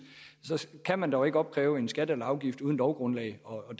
kan man dog ikke opkræve en skat eller afgift uden lovgrundlag og